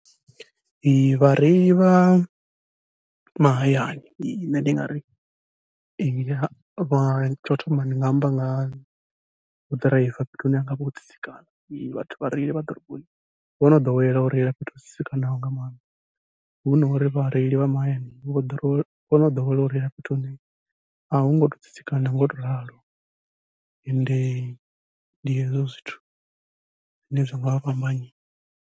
Vhareili vha mahayani nṋe ndi nga ri vha tshau thoma ndi nga amba nga vho ḓiraiva fhethu hune hu ngavha ho tsitsikana, vhathu vha reila vha ḓiroboni vho no ḓowela u reila fhethu ho tsitsikanaho nga maanḓa. Hu no uri vhareili vha mahayani vho no ḓowela u reila fhethu hune a hu ngo tou tsitsikana ngau to ralo, ende ndi hezwo zwithu zwine zwa ngavha fhambanya.